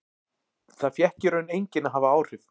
Það fékk í raun enginn að hafa áhrif.